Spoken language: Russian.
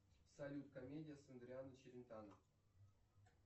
салют комедия с адриано челентано